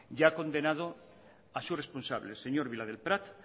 y ha condenado a su responsable el señor villadelprat